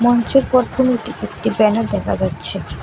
মঞ্চের একটি ব্যানার দেখা যাচ্ছে।